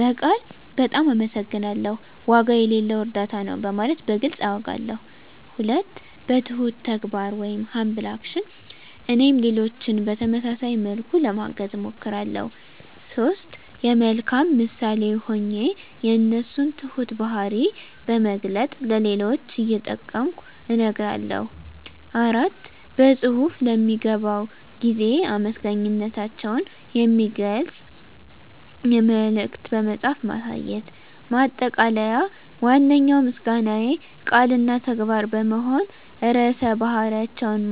በቃል "በጣም አመሰግናለሁ"፣ "ዋጋ የሌለው እርዳታ ነው" በማለት በግልፅ አውጋለሁ። 2. በትሁት ተግባር (Humble Action) - እኔም ሌሎችን በተመሳሳይ መልኩ ለማገዝ እሞክራለሁ። 3. የመልካም ምሳሌ ሆኜ የእነሱን ትሁት ባህሪ በማላገጥ ለሌሎች እየጠቀምኩ እነግራለሁ። 4. በፅሁፍ ለሚገባው ጊዜ አመሰግናታቸውን የሚገልጽ መልዕክት በመጻፍ ማሳየት። ማጠቃለያ ዋነኛው ምስጋናዬ ቃል እና ተግባር በመሆን ርዕሰ ባህሪያቸውን